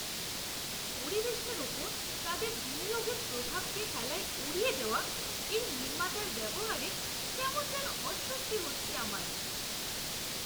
পরিবেশের ওপর তাদের বিনিয়োগের প্রভাবকে হেলায় উড়িয়ে দেওয়া এই নির্মাতার ব্যবহারে কেমন যেন অস্বস্তি হচ্ছে আমার।